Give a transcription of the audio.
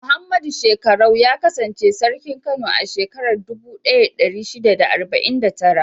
Muhammadu Shekkarau ya kasance Sarkin Kano a shekarar dubu ɗaya da ɗari shida da arba'in da tara.